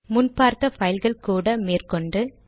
முன் பார்த்த பைல்கள் கூட மேற்கொண்டு